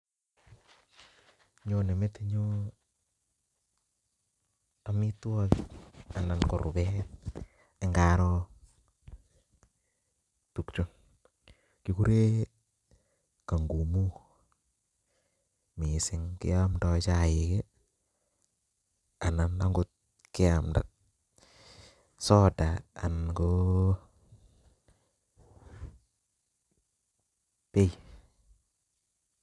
Nyone metinyun amitwokik anan ko rubeet ng'aroo tukuchu kikuren kangumu mising keomndo chaik anan okot keamnda soda anan ko beei.